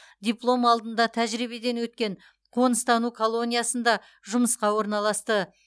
диплом алдында тәжірибеден өткен қоныстану колониясында жұмысқа орналасты